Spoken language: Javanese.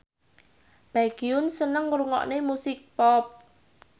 Baekhyun seneng ngrungokne musik pop